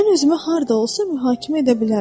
Mən özümü harda olsa mühakimə edə bilərəm.